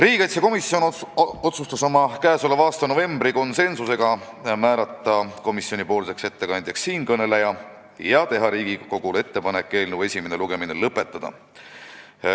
Riigikaitsekomisjon otsustas oma k.a novembri istungil konsensusega määrata komisjoni ettekandjaks siinkõneleja ja teha Riigikogule ettepaneku eelnõu esimene lugemine lõpetada.